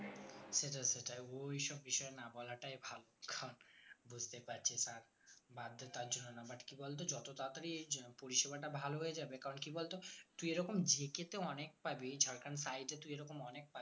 সেটাই সেটাই ঐসব বিষয় না বলাটাই ভালো কারণ বুঝতে পারছিস আর বাধ্যতার জন্য না মানে কি বলতো যত তাড়াতাড়ি এই পরিষেবাটা ভালো হয়ে যাবে কারণ কি বলতো তুই এরকম JK তো অনেক পাবি ঝাড়খন্ড এ তো অনেক পাবি